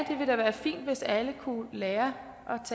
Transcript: det hvis alle kunne lære